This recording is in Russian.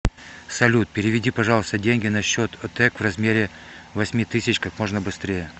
салют переведи пожалуйста деньги на счет отэк в размере восьми тысяч как можно быстрее